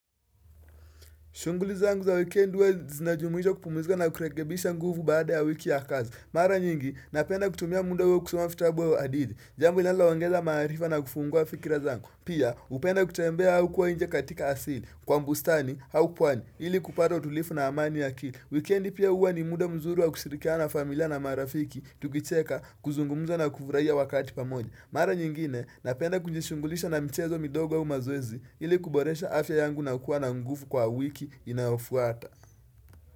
Shungulizangu za weekend huwa zinajumuisha kupumzika na kurekebisha nguvu baada ya wiki ya kazi. Mara nyingi, napenda kutumia muda huo kusoma vitabu au hadithi. Jambo linaloongeza maarifa na kufungua fikirazangu. Pia, hupenda kutembea au kuwa nje katika asili. Kwa bustani, au pwani, ili kupata utulivu na amani ya akili. Weekendi pia huwa ni muda mzuri wa kushirikiana nafamilia na marafiki, tukicheka, kuzungumza na kufurahia wakati pamoja. Mara nyingine napenda kujishugulisha na michezo midogo aumazoezi ili kuboresha afya yangu na kuwa na nguvu kwa wiki inayofuata.